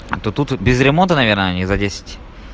то тут вот без ремонта наверное они за десять